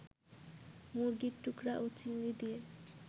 মুরগির টুকরা ও চিংড়ি দিয়ে